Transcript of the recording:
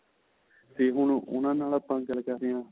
ਤੇ ਹੁਣ ਨਾਲ ਆਪਾਂ ਗੱਲ ਕਰਦੇ ਆ